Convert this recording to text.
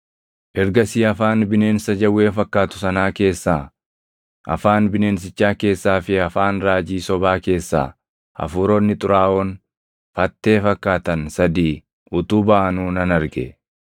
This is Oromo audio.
Ergasii afaan bineensa jawwee fakkaatu sanaa keessaa, afaan bineensichaa keessaa fi afaan raajii sobaa keessaa hafuuronni xuraaʼoon fattee fakkaatan sadii utuu baʼanuu nan arge.